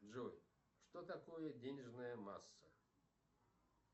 джой что такое денежная масса